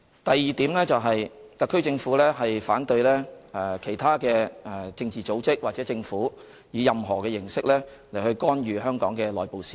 第二，特區政府反對其他政治組織或政府以任何形式干預香港的內部事務。